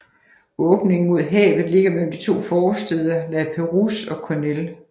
Åbningen mod havet ligger mellem de to forstæder La Perouse og Kurnell